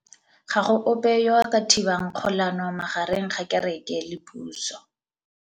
Ga go ope yo a ka thibang kgolanô magareng ga kereke le pusô.